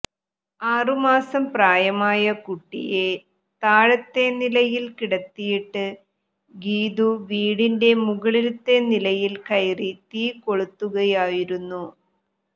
ആറുമാസം പ്രായമായ കുട്ടിയെ താഴത്തെ നിലയിൽ കിടത്തിയിട്ട് ഗീതു വീടിന്റ മുകളിലത്തെ നിലയിൽ കയറി തീ കൊളുത്തുകയായിരുന്നു